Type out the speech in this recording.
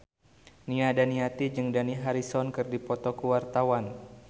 Nia Daniati jeung Dani Harrison keur dipoto ku wartawan